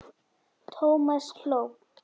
Thomas hló.